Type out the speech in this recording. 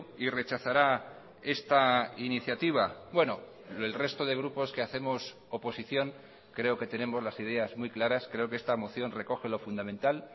y rechazará esta iniciativa bueno el resto de grupos que hacemos oposición creo que tenemos las ideas muy claras creo que esta moción recoge lo fundamental